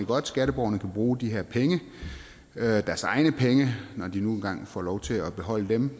godt skatteborgerne kan bruge de her penge deres egne penge når de nu engang får lov til at beholde dem